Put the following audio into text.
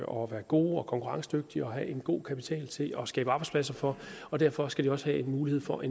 og være gode og konkurrencedygtige og have en god kapital til at skabe arbejdspladser for og derfor skal de også have mulighed for